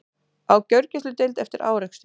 Á gjörgæsludeild eftir árekstur